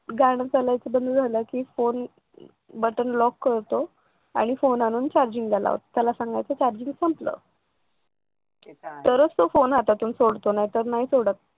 गाणं चालू असलेलं बंद झालं की फोन button lock करतो आणि फोन आणून चार्जिंगला लावतो त्याला सांगायचं चार्जिंग संपलं तरच तो फोन हातातून सोडतो नाहीतर नाही सोडत.